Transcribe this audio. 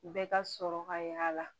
Bɛɛ ka sɔrɔ ka y'a la